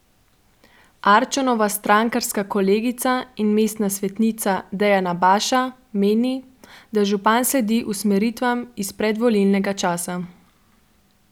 Arčonova strankarska kolegica in mestna svetnica Dejana Baša meni, da župan sledi usmeritvam iz predvolilnega časa.